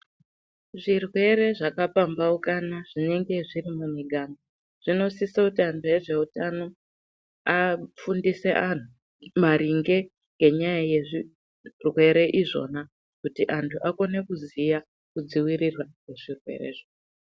Zvirwere zvakapambaukana zvinenge zviri mumiganga zvinosise kuti antu ezveutano afundise antu maringe ngenyaya yezvirwere izvona kuti antu akone kuziya kudzivirirwa kwezvirwerezvo.